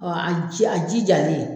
a jijalen.